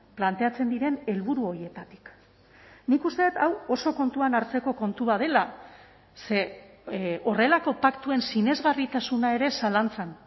planteatzen diren helburu horietatik nik uste dut hau oso kontuan hartzeko kontu bat dela ze horrelako paktuen sinesgarritasuna ere zalantzan